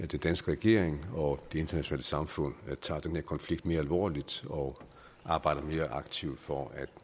den danske regering og det internationale samfund tager den her konflikt mere alvorligt og arbejder mere aktivt for at